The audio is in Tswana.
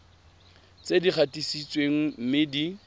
tse di gatisitsweng mme di